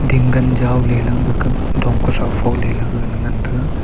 ting gan jao ley langke ge dong ku sao pho ley gaga ne ngan taiga.